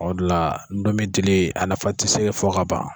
O de la ndomi dili a nafa tɛ se fɔ ka ban.